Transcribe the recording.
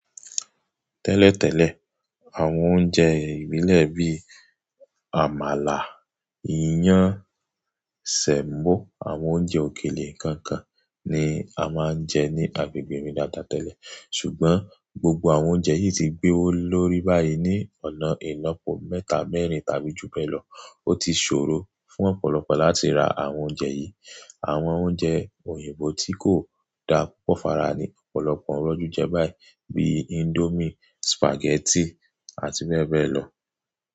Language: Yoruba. Tẹ́lẹ̀tẹ́lẹ̀, àwọn oúnjẹ ìbílẹ̀ bí i àmàlà, iyán, sẹ̀mọ́, àwọn oúnjẹ òkèlè ikankan ni a máa ń jẹ ní agbègbè mi dáadáa tẹ́lẹ̀. Ṣùgbọ́n gbogbo àwọn oúnjẹ yìí ti gbé owó lórí báyìí ní ọ̀nà ìlopo mẹ́ta-mẹ́rin tàbí jù bẹ́ẹ̀ lọ. Ó ti ṣòro fún ọ̀pọ̀lọpọ̀ láti ra àwọn oúnjẹ yìí. Àwọn oúnjẹ òyìnbó tí kò dá púpọ̀ fara ní ọ̀pọ̀lọpọ̀ n roju jẹ́ báyìí, bí i índómì, sùpàgẹ́tì àti bẹ́ẹ̀ bẹ́ẹ̀ lọ.